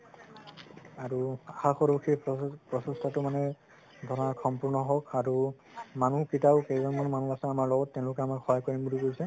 আৰু আশা কৰো সেই প্ৰচেষ্টাটো মানে ধৰা সম্পুৰ্ন হওঁক আৰু মানুহ কেইটাও কেইজন মান মানুহ আছে আমাৰ লগত তেওঁলোকে আমাৰ সহায় কৰিম বুলি কৈছে